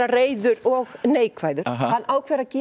reiður og neikvæður hann ákveður að